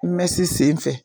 N bɛ se senfɛ.